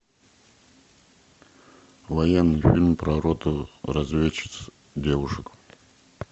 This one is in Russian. военный фильм про роту разведчиц девушек